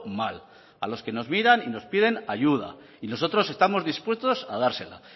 mal a los que nos miran y nos piden ayuda y nosotros estamos dispuesto a dársela